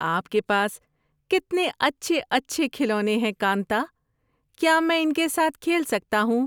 آپ کے پاس کتنے اچھے اچھے کھلونے ہیں، کانتا۔ کیا میں ان کے ساتھ کھیل سکتا ہوں؟